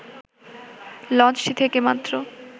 লঞ্চটি থেকে মাত্র